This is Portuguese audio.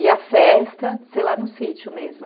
E a festa, sei lá, no sítio mesmo.